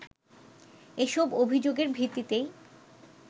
এসব অভিযোগের ভিত্তিতেই